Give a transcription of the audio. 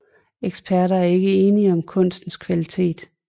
Eksperter er ikke enige om kunstens kvalitet